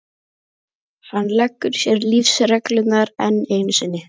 Hann leggur sér lífsreglurnar enn einu sinni.